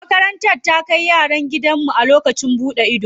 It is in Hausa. Makarantar ta kai yaran gidan namun daji a lokacin buɗan ido.